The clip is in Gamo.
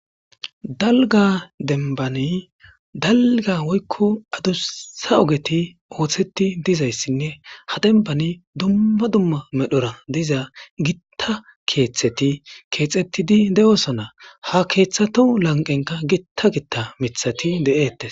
Dalga dembani dalga woyko adusa ogeti osetidizaysine ha demban dumma dumma medhora diza gita keetheti keexetidi de'osona ha kethatu lanqenka Gita Gita mithati de'etes .